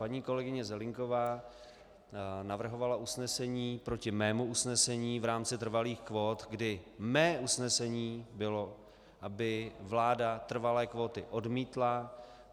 Paní kolegyně Zelienková navrhovala usnesení proti mému usnesení v rámci trvalých kvót, kdy mé usnesení bylo, aby vláda trvalé kvóty odmítla.